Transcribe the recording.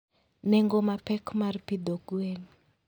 Nengo mapek mar pidho gwen .